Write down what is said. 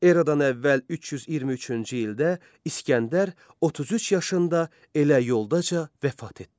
Eradan əvvəl 323-cü ildə İsgəndər 33 yaşında elə yoldaca vəfat etdi.